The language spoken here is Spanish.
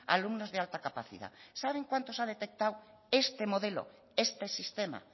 alumnos de alta capacidad saben cuántos ha detectado este modelo este sistema